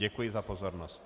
Děkuji za pozornost.